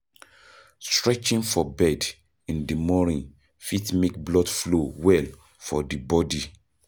Stretching for bed in di moning fit make blood flow well for bodi